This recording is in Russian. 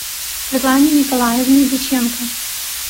светлане николаевне дьяченко